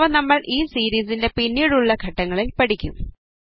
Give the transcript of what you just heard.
അവ നമ്മൾ ഈ സീരീസിൻറെ പിന്നീടുള്ള ഘട്ടങ്ങളിൽ പഠിക്കും